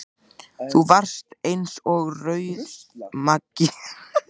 Þú varst eins og rauðmagi, sagði Bill.